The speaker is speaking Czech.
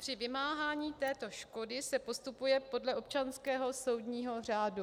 Při vymáhání této škody se postupuje podle občanského soudního řádu.